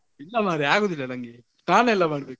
ಇಲ್ಲ ಮರ್ರೆ ಆಗುದಿಲ್ಲ ನಂಗೆ ಸ್ನಾನ ಎಲ್ಲ ಮಾಡ್ಬೇಕು.